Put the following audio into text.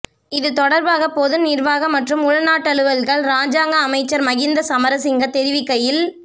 இது தொடர்பாக பொது நிர்வாக மற்றும் உள்நாட்டலுவல்கள் இராஜாங்க அமைச்சர் மஹிந்த சமரசிங்க தெரிவிக்கையில்